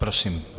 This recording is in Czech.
Prosím.